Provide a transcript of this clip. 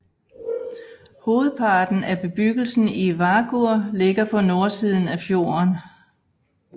Hovedparten af bebyggelsen i Vágur ligger på nordsiden af fjorden